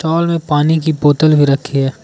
में पानी की बोतल भी रखी है।